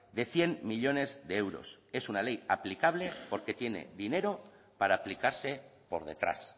de cien millónes de euros es una ley aplicable porque tiene dinero para aplicarse por detrás